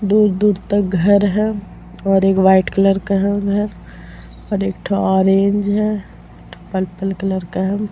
दूर-दूर तक घर है और एक व्हाइट कलर का है घर और एक ठो ऑरेंज है एक ठो पर्पल कलर का है ।